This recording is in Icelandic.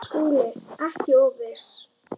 SKÚLI: Ekki of viss!